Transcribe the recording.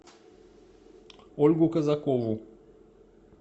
ольгу казакову